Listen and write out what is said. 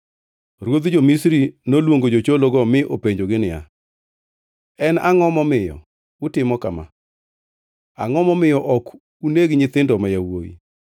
Ruodh jo-Misri noluongo jochologo mi openjogi niya, “En angʼo momiyo utimo kama? Angʼo momiyo ok uneg nyithindo ma yawuowi?”